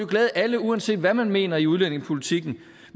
glæde alle uanset hvad man mener i udlændingepolitikken